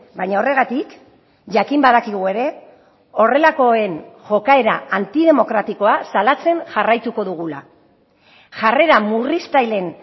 baina horregatik jakin badakigu ere horrelakoen jokaera antidemokratikoa salatzen jarraituko dugula jarrera murriztaileen